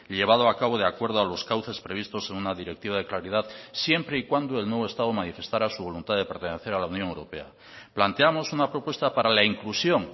llevado a cabo de acuerdo a los cauces previstos en una directiva de claridad siempre y cuando el nuevo estado manifestara su voluntad de pertenecer a la unión europea planteamos una propuesta para la inclusión